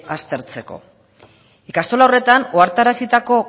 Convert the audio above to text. aztertzeko ikastola horretan ohartarazitako